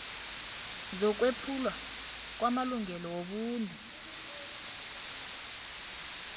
zokwephulwa kwamalungelo wobuntu